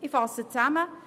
Ich fasse zusammen: